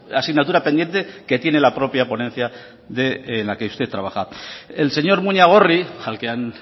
asignatura pendiente que tiene la propia ponencia en la que usted trabaja el señor muñagorri al que han